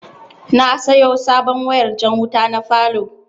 Na sayo sabon wayar jan wuta na falow